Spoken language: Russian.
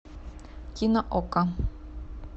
кино окко